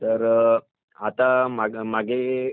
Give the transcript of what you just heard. तर आता मागे